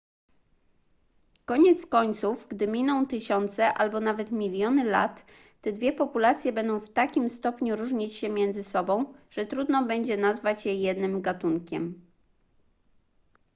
koniec końców gdy miną tysiące albo nawet miliony lat te dwie populacje będą w takim stopniu różnić się między sobą że trudno będzie nazwać je jednym gatunkiem